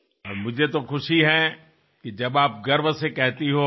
ఇది మా అందరికీ ఎంతో ప్రేరణాత్మకమైన సంగతి